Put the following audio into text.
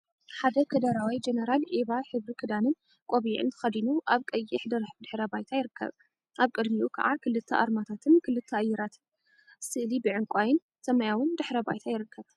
ሓደ ከደረዋይ ጀነራል ዒባ ሕብሪ ክዳንን ቆቢዕን ተከዲኑ አብ ቀይሕ ድሕረ ባይታ ይርከብ። አብ ቅድሚኡ ከዓ ክልተ አርማታትን ክልተ አየራትን ስእሊ ብዕንቋይን ሰማያዊን ድሕረ ባይታ ይርከብ።